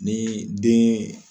Ni den